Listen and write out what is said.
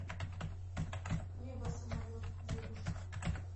небо самолет девушка